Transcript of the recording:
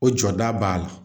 O jɔda b'a la